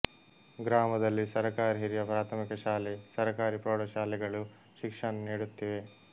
ಗ್ರಾಮದಲ್ಲಿ ಸರಕಾರಿ ಹಿರಿಯ ಪ್ರಾಥಮಿಕ ಶಾಲೆ ಸರಕಾರಿ ಪ್ರೌಡ ಶಾಲೆಗಳು ಶಿಕ್ಷಣ ನೀಡುತ್ತಿವೆ